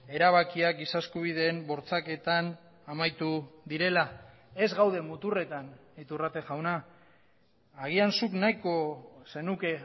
erabakiak giza eskubideen bortxaketan amaitu direla ez gaude muturretan iturrate jauna agian zuk nahiko zenuke